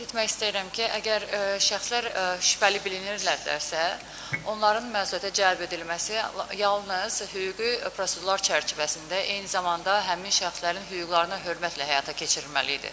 Qeyd etmək istəyirəm ki, əgər şəxslər şübhəli bilinirlərsə, onların məsuliyyətə cəlb edilməsi yalnız hüquqi prosedurlar çərçivəsində, eyni zamanda həmin şəxslərin hüquqlarına hörmətlə həyata keçirilməlidir.